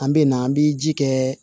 An bɛ na an bi ji kɛ